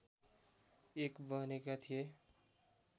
एक बनेका थिए